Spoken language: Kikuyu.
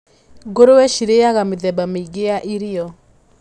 Ngũrũwe cirĩaga mĩthemba mĩingĩ ya irio.